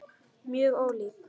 Mjög ólík.